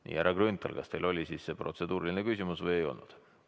Nii, härra Grünthal, kas teil oli siis see protseduuriline küsimus või ei olnud?